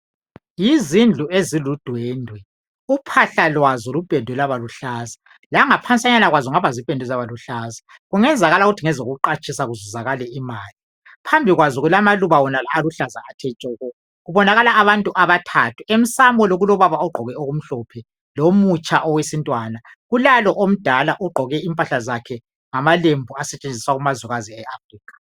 yizindlu eziludwendwe uphahla lwazoluphendwe lwabaluhlaza langa phansanyana kwazo kuphendo zaba luhaza kungenzakala ukuthi zingaba zingezo kuqatshisa kuzuzakale imali phambili kwazo kulamaluba aluhlaza tshoko kubonakala abantu abathathu emsamo kulo baba ogqoke okumhlophe lomutsha wesintwana kulalo omdala ogqoke impahla zakhe ngamalembu asetshenziswa kumazukazi eAfrica